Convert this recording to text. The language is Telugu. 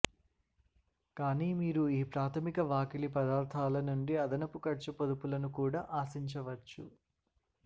కానీ మీరు ఈ ప్రాథమిక వాకిలి పదార్థాల నుండి అదనపు ఖర్చు పొదుపులను కూడా ఆశించవచ్చు